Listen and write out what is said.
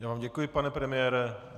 Já vám děkuji, pane premiére.